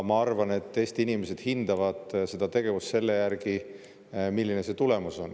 Ma arvan, et Eesti inimesed hindavad seda tegevust selle järgi, milline on tulemus.